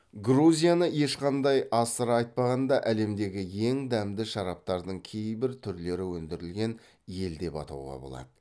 грузияны ешқандай асыра айтпағанда әлемдегі ең дәмді шараптардың кейбір түрлері өндірілген ел деп атауға болады